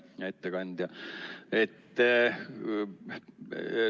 Hea ettekandja!